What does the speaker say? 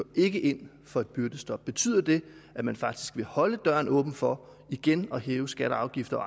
ikke ind for et byggestop betyder det at man faktisk vil holde døren åben for igen at hæve skatter og afgifter og